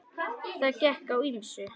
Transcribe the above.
Það gekk á ýmsu.